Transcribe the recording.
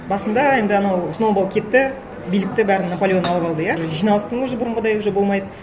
басында енді анау сноуболл кетті билікті бәрін наполеон алып алды иә жиналыстың өзі бұрынғыдай уже болмайды